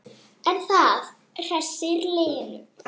En það hressir Lenu.